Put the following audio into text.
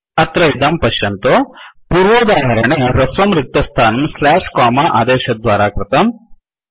अत्र इदं पश्यन्तु पूर्वोदाहरणे हृस्वं रिक्तस्थानं स्लाश् कोमा आदेशद्वारा कृतम्